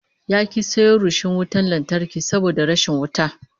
Ya ki sayo rishon wutan lantarki saboda rashin wuta